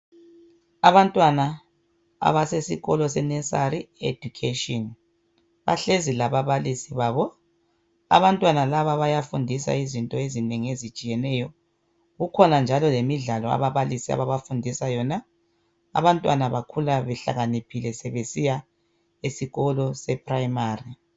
Abantwana abasesikolo seNursery education bahlezi lababalisi babo abantwana laba bayafundiswa izinto ezinengi ezitshiyeneyo kukhona njalo lemidlalo ababalisi ababafundisa yona , abantwana bakhula behlakaniphile besiya esikolo sePrimary.